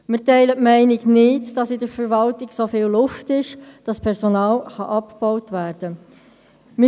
Wir teilen die Meinung nicht, in der Verwaltung sei so viel Luft enthalten, dass Personal abgebaut werden kann.